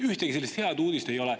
Ühtegi head uudist ei ole.